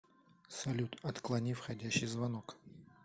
салют отклони входящий звонок